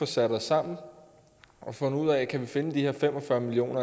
sig sammen og finde ud af om vi kan finde de her fem og fyrre million